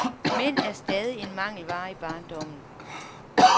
Mænd er stadig en mangelvare i barndommen.